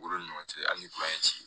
Olu ni ɲɔgɔn cɛ a ni ci